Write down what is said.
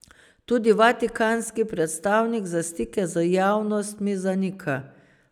Tudi vatikanski predstavnik za stike z javnostmi zanika.